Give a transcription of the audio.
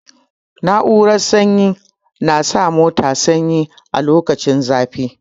Na'urar sanyi na sa mota sanyi a lokacin zafi.